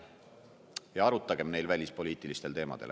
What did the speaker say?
Ja arutagem neil välispoliitilistel teemadel.